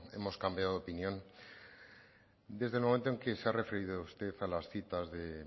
hemos cambiado de opinión desde el momento en que se ha referido usted a las citas de